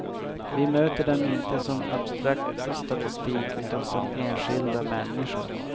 Vi möter dem inte som abstrakt statistik, utan som enskilda människor.